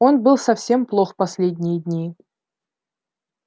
он был совсем плох последние дни